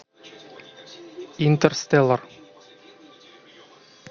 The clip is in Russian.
интерстеллар